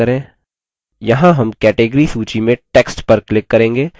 यहाँ हम category सूची में text पर click करेंगे